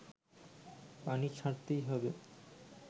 পানি ছাড়তেই হবে